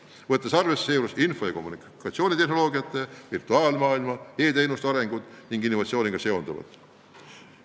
Seejuures tuleb muidugi arvesse võtta info- ja kommunikatsioonitehnoloogiate, virtuaalmaailma ja e-teenuste arengut ning innovatsiooniga seonduvat.